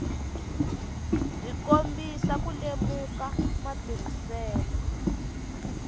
byi kombisa ku lemuka matirhiselo